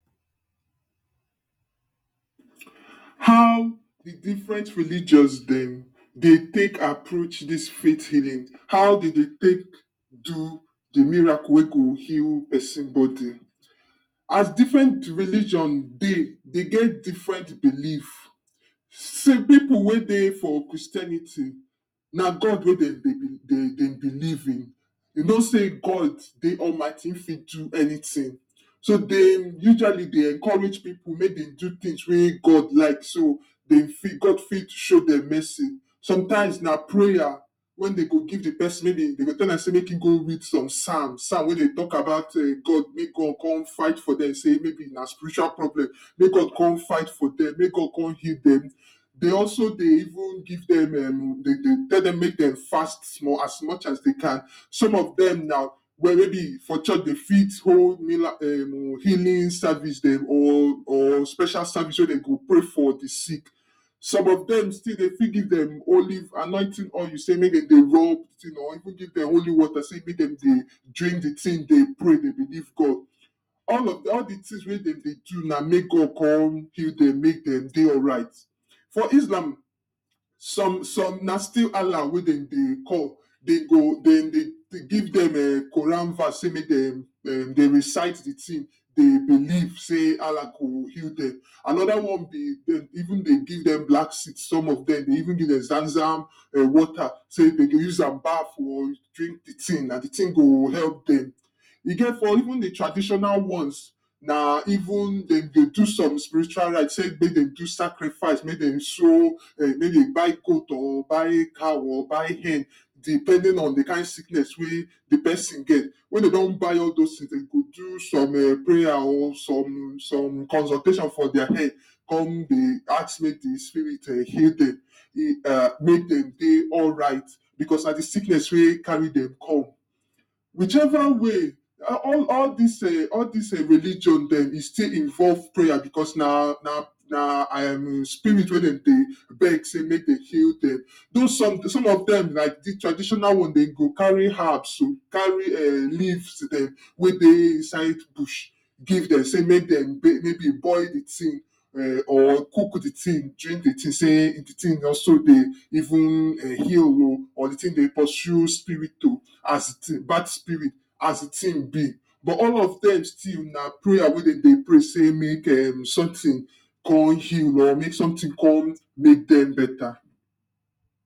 how the different religions dem dey take approach dis faith healing how de dey take do the miracle wey go heal person body as different religion dey, dey get different belief sey pipu wey dey for christianity na god, na god wey de dey believe in e no sey gawd Almighty e fit do anytin so dey usually dey encourage people make dey do things wey god like so de fit god fit show dem mercy sometimes na prayer when dem go give the person dem go tell am make ego read psalm psalm wey dey talk about god come fight for dem sey may be na spiritual problem mey god come fight for dem mey god come heal dem dey also dey even give dem um tell dem mey dey fast small as much as dey can some of dem now well may be for church dey fit hold mira um healing service dem or or special service wey dey go pray for the sick some of dem still dey fit give dem olive annointing oil sey mey de dey rub or even give dem holy water sey mey dem dey drink the thing dey pray dey believe god all of all the thing wey dem dey do na make god come heal dem mey dem dey alright for islam some, some na still Allah wey dem dey call, dey go dem dey give dem Quran verse sey make dem dey recite the thing dey belief sey Allah go heal dem another one dey be even dey give dem black seed some of dem dey even give dem zam-zam water sey dey go uzam baf or drink the thing na the tin go help dem, e get for even the traditional ones na even dem dey do some spiritual rite sey mey dey do sacrifice sey mey dey show mey dey buy goat or buy cow or buy hen depending on the kind sickness wey de person get, wey dey don buy all dis thing dey go do some prayer o some, some consultation for dia hen come dey ask me the spirit healing um mey dem dey alright because na the sickness wey carry dem come which ever way all dis um all dis religion dem e still involve prayer because na na na um spirit wey dem dey beg sey mey dey heal dem, do some some of dem the traditional one dem go carry herbs carry um leaves dem wey dey inside bush give dem sey mey dem mey be boil the thing or cook the thing drink the thing sey the thing also dey even heal room or the thing dey pursue spirit o as um bad spirit as the thing be but all of dem still na prayer wey de dey pray make sometin come heal or make something come make dem beta